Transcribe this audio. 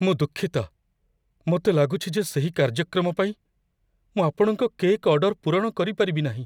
ମୁଁ ଦୁଃଖିତ, ମୋତେ ଲାଗୁଛି ଯେ ସେହି କାର୍ଯ୍ୟକ୍ରମ ପାଇଁ ମୁଁ ଆପଣଙ୍କ କେକ୍ ଅର୍ଡର ପୂରଣ କରିପାରିବି ନାହିଁ।